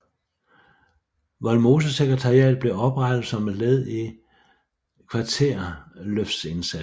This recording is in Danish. Vollsmosesekretariatet blev oprettet som led i Kvarterløftsindsatsen